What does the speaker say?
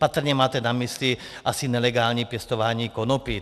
Patrně máte na mysli asi nelegální pěstování konopí.